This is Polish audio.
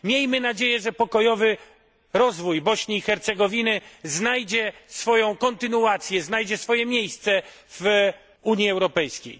Miejmy nadzieję, że pokojowy rozwój Bośni i Hercegowiny znajdzie swoją kontynuację, znajdzie swoje miejsce w Unii Europejskiej.